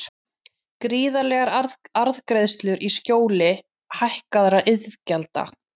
Gríðarlegar arðgreiðslur í skjóli hækkaðra iðgjalda